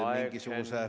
Aeg, Henn!